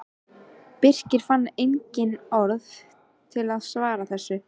Birkir fann engin orð til að svara þessu.